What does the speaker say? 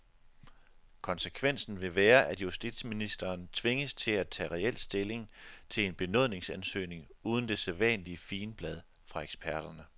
Konsekvensen vil være, at justitsministeren tvinges til at tage reel stilling til en benådningsansøgning uden det sædvanlige figenblad fra eksperterne.